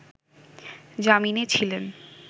জামিনে ছিলেন